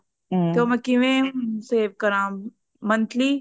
ਤੇ ਮੈਂ ਕਿਵੇਂ save ਕਰਾ monthly